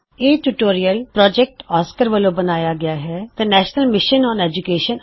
ਇਹ tutorial project Oscar ਵਲੋ ਬਣਾਇਆ ਗਇਆave ਹੈ ਨੈਸ਼ਨਲ ਮਿਸ਼ਨ ਓਨ ਐਡੂਕੇਸ਼ਨ